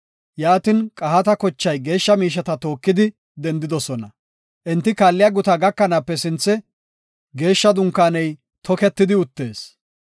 Yaatin Qahaata kochay geeshsha miisheta tookidi dendidosona. Enti kaalliya guta gakanaape sinthe Geeshsha Dunkaaney toketidi uttees.